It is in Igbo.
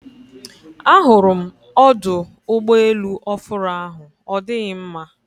A hụrụ m ọdụ ụgbọ elu ofụru ahụ ọ dịghị mma